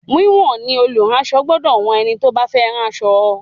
Wíwọ̀n ni olùránsọ gbọdọ̀ wọn ẹni tó bá fẹ́ ránṣọ fún.